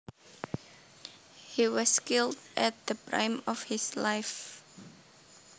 He was killed at the prime of his life